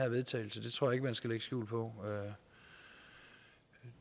vedtagelse det tror jeg man skal lægge skjul på